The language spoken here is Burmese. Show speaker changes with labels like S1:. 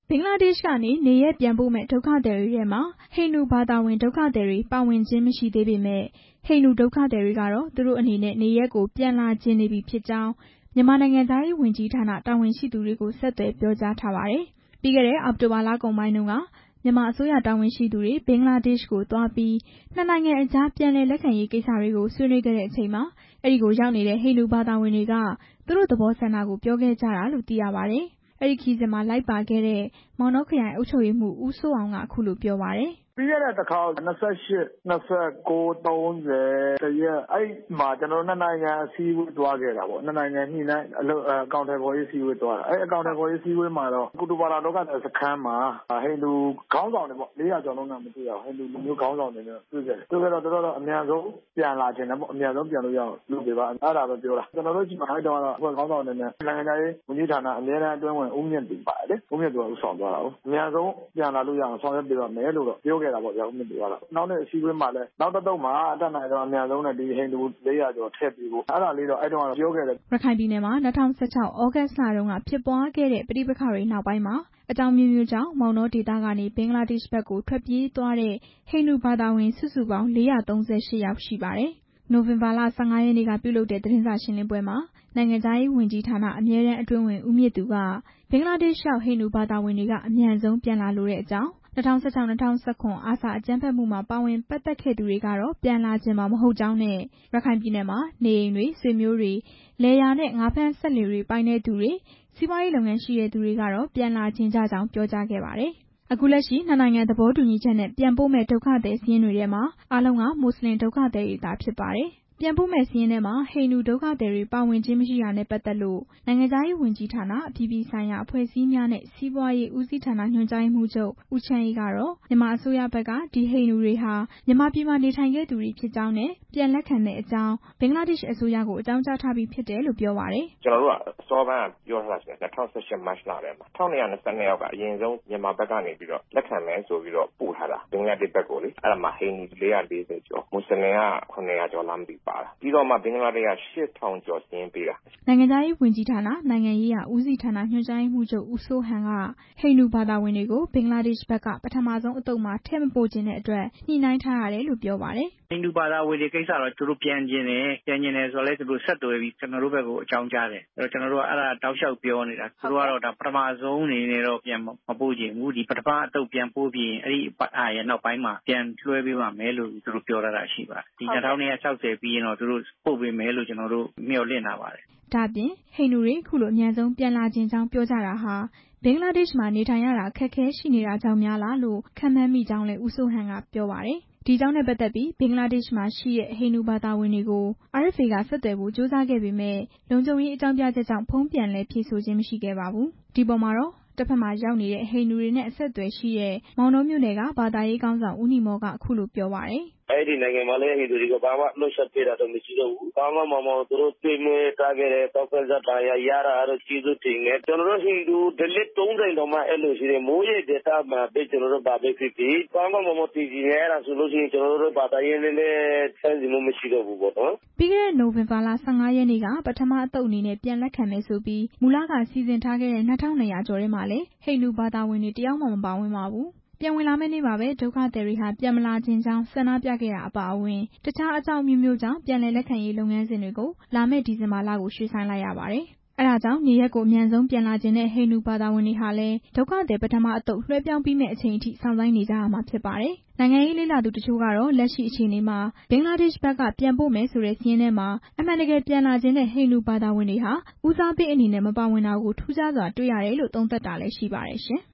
S1: ဘင်္ဂလားဒေ့ရှ်ကနေ နေရပ်ပြန်ပို့မယ့် ဒုက္ခသည်တွေထဲမှာ ဟိန္ဒူဘာသာဝင် ဒုက္ခသည်တွေ ပါဝင်ခြင်း မရှိသေးပေမယ့် ဟိန္ဒူဒုက္ခသည်တွေကတော့ သူတို့အနေနဲ့ နေရပ်ကို ပြန်လာချင်နေပြီဖြစ်ကြောင်း မြန်မာ နိုင်ငံခြားရေးဝန်ကြီးဌာန တာဝန်ရှိသူတွေကို ဆက်သွယ်ပြောကြားထားပါတယ်။ ပြီးခဲ့တဲ့ အောက်တိုဘာလကုန်ပိုင်းတုန်းက မြန်မာအစိုးရ တာဝန်ရှိသူတွေ ဘင်္ဂလားဒေ့ရှ်ကိုသွားပြီး နှစ်နိုင်ငံ အကြား ပြန်လည်လက်ခံရေးကိစ္စတွေကို ဆွေးနွေးခဲ့ချိန်မှာ အဲဒီကိုရောက်နေတဲ့ ဟိန္ဒူဘာသာဝင်တွေက သူတို့သဘောဆန္ဒ ကို ပြောခဲ့ကြတာလို့ သိရပါတယ်။ အဲဒီခရီးစဉ်မှာ လိုက်ပါခဲ့တဲ့ မောင်တောခရိုင် အုပ်ချုပ်ရေးမှူး ဦးစိုးအောင် က အခုလို ပြောပါတယ်။
S2: "ပြီးခဲ့တဲ့ တစ်ခေါက် ၂၈၊ ၂၉ ၊ ၃၀၊ ၁ ရက် အဲမှာ ကျနော်တို့ နှစ်နိုင်ငံအစည်းအဝေး သွားခဲ့တာပေါ့၊ အဲဒီတုန်းကတော့ ကုတုပလောင် ဒုက္ခသည်စခန်းမှာ ဟိန္ဒူခေါင်းဆောင်တွေပေါ့ တွေ့ခဲ့တယ်၊ သူတို့ကတော့ အမြန်ဆုံးပြန်လာချင်တယ်ပေါ့၊ အဲဒီမှာ ကျနော်တို့ အဖွဲ့ခေါင်းဆောင်က နိုင်ငံခြားရေး ဝန်ကြီးဌာနက အမြဲတမ်း အတွင်းဝန် ဦးမြင့်သူလေ၊ သူကတော့ ပြန်လာလို့ရအောင် ဆောင်ရွက်ပေးပါ့မယ်လို့ ပြောတာပေါ့၊ နောက်နေ့ အစည်းအဝေးမှာလည်း နောက်တစ်သုတ်မှာလည်း အတတ်နိုင်ဆုံး ဟိန္ဒူ ၄၀၀ ကျော်ထည့်ပေးဖို့ အဲဒါလေးတော့ ပြောခဲ့တယ်
S1: " ရခိုင်ပြည်နယ်မှာ ၂၀၁၆ သြဂုတ်လတုန်းကဖြစ်ပွားခဲ့တဲ့ ပဋိပက္ခတွေနောက်ပိုင်း အကြောင်းအမျိုးမျိုးကြောင့် မောင်တောဒေသကနေ ဘင်္ဂလားဒေ့ရှ်ဘက် ထွက်ပြေးသွားတဲ့ ဟိန္ဒူဘာသာဝင် စုစုပေါင်း ၄၃၈ ယောက် ရှိပါတယ်။ နိုဝင်ဘာလ ၁၅ ရက် နေ့က ပြုလုပ်တဲ့ သတင်းစာရှင်းလင်းပွဲမှာ နိုင်ငံခြားရေးဝန်ကြီးဌာန အမြဲတန်းအတွင်းဝန် ဦးမြင့်သူ က ဘင်္ဂလားဒေ့ရှ်ရောက် ဟိန္ဒူဘာသာဝင်တွေက အမြန်ဆုံးပြန်လာလိုကြောင်း၊ ၂၀၁၆-၁၇ အာဆာအကြမ်းဖက်မှုမှာ ပါဝင်ပတ်သက်ခဲ့သူတွေကတော့ ပြန်လာချင်မှာ မဟုတ်ကြောင်းနဲ့ ရခိုင်ပြည်နယ်မှာ နေအိမ်တွေ၊ ဆွေမျိုးတွေ၊ လယ်ယာနဲ့ ငါးဖမ်းစက်လှေတွေ ပိုင်တဲ့သူတွေ စီးပွားရေးလုပ်ငန်းရှိတဲ့သူတွေက တော့ ပြန်လာချင်ကြကြောင်း ပြောကြားခဲ့ပါတယ်။ အခုလက်ရှိ နှစ်နိုင်ငံ သဘောတူညီချက်နဲ့ ပြန်ပို့မယ့် ဒုက္ခသည်စာရင်းတွေထဲမှာ အားလုံးက မွတ်စလင် ဒုက္ခသည်တွေသာ ဖြစ်ပါတယ်။ ပြန်ပို့မယ့်စာရင်းထဲမှာ ဟိန္ဒူ ဒုက္ခသည်တွေ ပါဝင်ခြင်းမရှိတာနဲ့ပတ်သက်လို့ နိုင်ငံခြားရေးဝန်ကြီးဌာန အပြည်ပြည်ဆိုင်ရာ အဖွဲ့အစည်းများနဲ့ စီးပွားရေးဦးစီးဌာန ညွှန်ကြားရေးမှူးချုပ် ဦးချမ်းအေး ကတော့ မြန်မာအစိုးရဘက်က ဒီဟိန္ဒူတွေဟာ မြန်မာပြည်မှာ နေထိုင်ခဲ့သူတွေဖြစ်ကြောင်းနဲ့ ပြန်လက်ခံမယ့်အကြောင်း ဘင်္ဂလားဒေ့ရှ်အစိုးရကို အကြောင်းကြားထားပြီးဖြစ်တယ်လို့ ပြောပါတယ်
S2: ။ "ကျနော်တို့က အစောပိုင်း ၂၀၁၈ မတ်လတုန်းက ပြောထားတာ ရှိပါတယ်၊ ၁၂၂၂ ယောက်က အရင်ဆုံး မြန်မာဘက်ကနေ လက်ခံမယ်ဆိုပြီးတော့ ပို့ထားတာ၊ အဲဒီမှာ ဟိန္ဒူ ၄၄၀ ကျော်၊ မွတ်စလင်က ၇၀၀ ကျော်လား ပါတယ်" န
S1: ိုင်ငံခြားရေးဝန်ကြီးဌာန နိုင်ငံရေးရာဦးစီးဌာ၊ ညွှန်ကြားရေးမှူးချုပ် ဦးစိုးဟန် က ဟိန္ဒူဘာသာဝင်တွေကို ဘင်္ဂလားဒေ့ရှ်ဘက်က ပထမဆုံးအသုတ်မှာ ထည့်မပို့ချင်တဲ့အတွက် ညှိနှိုင်းထားရတယ်လို့ ပြောပါတယ်။
S2: "ဟိန္ဒူဘာသာဝင်တွေက သူတို့ပြန်ချင်တယ် ကျနော်တို့ဘက်ကို ဆက်သွယ်ပြီး အကြောင်းကြားတယ်၊ သူတို့ကတော့ ပထမဆုံးအနေနဲ့တော့ ပြန်မပို့ချင်ဘူး၊ ပထမအသုတ် ပြန်ပို့ပြီးရင် သူတို့ပြန်လွှဲပေးမယ်လို့ ပြောထားတာရှိပါတယ်၊ ဒီ ၂၂၆၀ ပြီးရင်တော့ ပို့ပေးမယ်လို့ ကျနော်တို့ မျှော်လင့်ထားပါတယ်
S1: " ဒါ့အပြင် ဟိန္ဒူတွေ အခုလို အမြန်ဆုံးပြန်လာချင်ကြောင်း ပြောကြတာဟာ ဘင်္ဂလားဒေ့ရှ်မှာ နေထိုင်ရတာ အခက်အခဲရှိနေတာကြောင့်များလားလို့ ခန့်မှန်းမိကြောင်း ဦးစိုးဟန် က ပြောပါတယ်။ အဲဒီအကြောင်းနဲ့ပတ်သက်ပြီး ဘင်္ဂလားဒေ့ရှ်မှာရှိတဲ့ ဟိန္ဒူဘာသာဝင်တွေဘက်ကို RFA က ဆက်သွယ်ဖို့ ကြိုးစားခဲ့ပေမယ့် လုံခြုံရေးအကြောင်းပြချက်ကြောင့် ဖုန်းပြန်လည်ဖြေဆိုခြင်း မရှိခဲ့ပါဘူး။ ဒီအပေါ်မှာတော့ တစ်ဘက်မှာ ရောက်နေတဲ့ ဟိန္ဒူတွေနဲ့ အဆက်အသွယ်ရှိတဲ့ မောင်တောမြို့နယ်က ဟိန္ဒူဘာသာရေးခေါင်းဆောင် ဦးနီမော် က အခုလို ပြောပါတယ်။
S2: "အဲဒီနိုင်ငံမှာလည်း ကောင်းကောင်းမွန်မွန် ကျွေးမွေးတာ၊ ထောက်ပံ့စာရတာတော့ ကျေးဇူးတင်တယ်၊ ဟိန္ဒူထုံးစံမှာက မွေးရပ်ဒေသမှာ ဘာပဲဖြစ်ဖြစ် ကောင်းကောင်းမွန်မွန် သေချင်တယ်၊ အဲလိုဆို ဘာသာရေး နဲ့လည်း ဆန့်ကျင်မှု မရှိတော့ဘူးပေါ့နော်
S1: " ပြီးခဲ့တဲ့ နိုဝင်ဘာလ ၁၅ ရက်နေ့က ပထမအသုတ်အနေနဲ့ ပြန်လက်ခံမယ်ဆိုပြီး မူလက စီစဉ်ထားခဲ့တဲ့ ၂၂၀၀ ကျော်ထဲမှာလည်း ဟိန္ဒူဘာသာဝင်တွေ တစ်ယောက်မှ မပါဝင်ပါဘူး။ ပြန်ဝင်လာမယ့်နေ့မှာပဲ ဒုက္ခသည်တွေဟာ ပြန်မလာချင်ကြောင်း ဆန္ဒပြခဲ့တာအပါအဝင် တစ်ခြား အကြောင်း အမျိုးမျိုးကြောင့် ပြန်လည်လက်ခံရေးလုပ်ငန်းစဉ်တွေကို လာမယ့် ဒီဇင်ဘာလကို ရွှေ့ဆိုင်းလိုက်ရပါတယ်။ အဲဒါကြောင့် နေရပ်ကို အမြန်ဆုံးပြန်လာချင်တဲ့ ဟိန္ဒူဘာသာဝင်တွေဟာလည်း ဒုက္ခသည် ပထမအသုတ် လွှဲပြောင်းပြီးမယ့်အချိန်အထိ စောင့်ဆိုင်းနေကြရမှာ ဖြစ်ပါတယ်။ နိုင်ငံရေးလေ့လာသူတချို့ကတော့ လက်ရှိအခြေအနေမှာ ဘင်္ဂလားဒေ့ရှ်ဘက်က ပြန်ပို့မယ်ဆိုတဲ့စာရင်းထဲမှာ အမှန်တကယ်ပြန်လာချင်တဲ့ ဟိန္ဒူဘာသာဝင်တွေဟာ ဦးစားပေးအနေနဲ့ မပါဝင်တာကို ထူးခြားစွာတွေ့ရတယ်လို့ သုံးသပ်တာလည်း ရှိပါတယ်ရှင်။